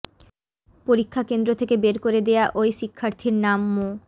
পরীক্ষা কেন্দ্র থেকে বের করে দেয়া ওই শিক্ষার্থীর নাম মো